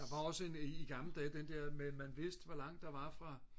der var også en i gamle dage den der med man vidste hvor langt der var fra